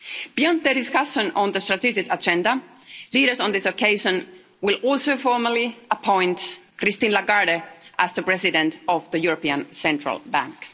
Beyond the discussion on the strategic agenda, leaders on this occasion will also formally appoint Christine Lagarde as the President of the European Central Bank.